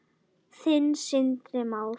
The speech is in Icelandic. Þinn, Sindri Már.